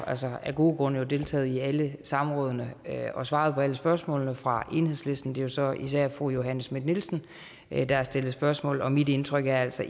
altså af gode grunde deltaget i alle samrådene og svaret på alle spørgsmålene fra enhedslisten det er så især fru johanne schmidt nielsen der har stillet spørgsmål og mit indtryk er altså